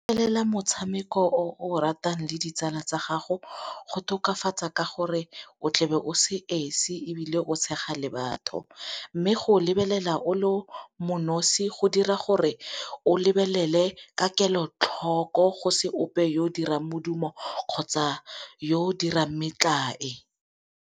Go lebelela motshameko o o ratang le ditsala tsa gago go tokafatsa ka gore o tlabe o se esi ebile o tshega le batho, mme go lebelela o le mo nosi go dira gore o lebelele ka kelotlhoko go se ope yo o dirang modumo kgotsa yo o dirang metlae.